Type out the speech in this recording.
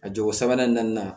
A jogo sabanan naaninan